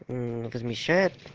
размещает